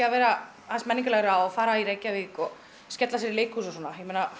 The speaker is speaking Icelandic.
að vera aðeins menningarlegra og fara í Reykjavík og skella sér í leikhús og svona